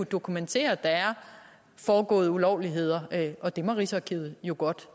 dokumenteres at der er foregået ulovligheder og det må rigsarkivet jo godt